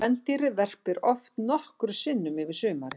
Kvendýrið verpir oft nokkrum sinnum yfir sumarið.